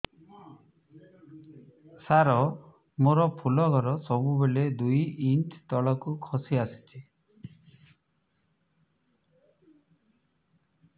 ସାର ମୋର ଫୁଲ ଘର ସବୁ ବେଳେ ଦୁଇ ଇଞ୍ଚ ତଳକୁ ଖସି ଆସିଛି